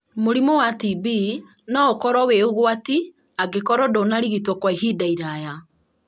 Mũrimũ wa TB no ũkorwo wĩ ũgwati angĩkorwo ndũnarigitwo kwa ihinda iraya.